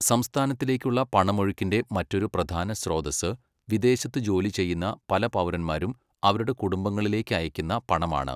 സംസ്ഥാനത്തിലേക്കുള്ള പണമൊഴുക്കിന്റെ മറ്റൊരു പ്രധാന സ്രോതസ്സ് വിദേശത്ത് ജോലി ചെയ്യുന്ന പല പൗരന്മാരും അവരുടെ കുടുംബങ്ങളിലേക്ക് അയക്കുന്ന പണമാണ്.